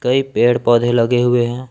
कई पेड़ पौधे लगे हुवे हैं।